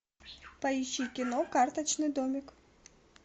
поищи кино карточный домик